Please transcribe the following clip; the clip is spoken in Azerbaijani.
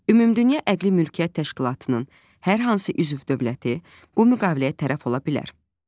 Ümumdünya Əqli Mülkiyyət Təşkilatının hər hansı üzv dövləti bu müqaviləyə tərəf ola bilər.